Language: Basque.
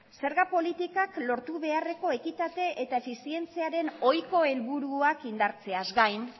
zerga politikak lortu beharreko ekitate eta efizientziaren ohiko helburuak indartzeaz gain